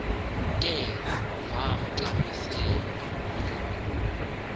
ke vamcacisela ukuba